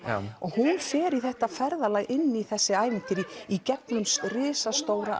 og hún fer í þetta ferðalag inn í þessi ævintýri í gegnum risastóra